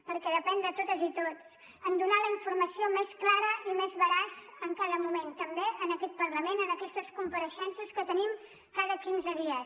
perquè depèn de totes i tots donar la informació més clara i més veraç en cada moment també en aquest parlament en aquestes compareixences que tenim cada quinze dies